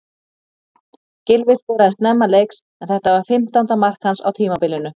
Gylfi skoraði snemma leiks en þetta var fimmtánda mark hans á tímabilinu.